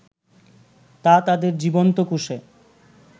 তা তাদের জীবন্ত কোষে